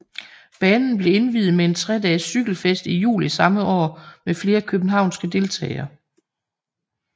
Banen blev indviet med en tre dages cykelfest i juli samme år med flere københavnske deltagere